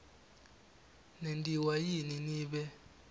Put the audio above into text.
nentiwa yini nibe